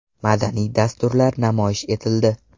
Madaniy dasturlar namoyish etildi.